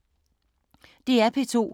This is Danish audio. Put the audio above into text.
DR P2